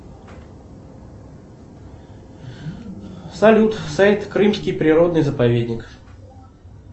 салют сайт крымский природный заповедник